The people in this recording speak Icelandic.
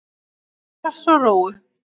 Að fara í rass og rófu